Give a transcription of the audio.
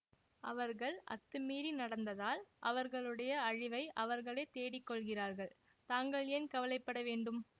அவர்கள் அத்துமீறி நடந்தால் அவர்களுடைய அழிவை அவர்களே தேடிக்கொள்கிறார்கள் தாங்கள் ஏன் கவலை பட வேண்டும்